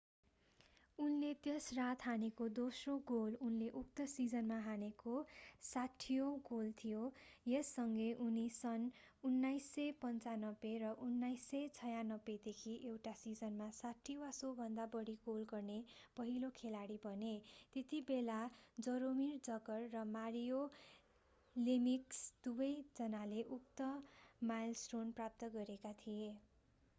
उनले त्यस रात हानेको दोस्रो गोल उनले उक्त सिजनमा हानेको 60औँ गोल थियो यससँगै उनी सन् 1995-1996 देखि एउटा सिजनमा 60 वा सोभन्दा बढी गोल गर्ने पहिलो खेलाडी बने त्यतिबेला जरोमिर जगर र मारियो लेमिअक्स दुवै जनाले उक्त माइलस्टोन प्राप्त गरेका थिए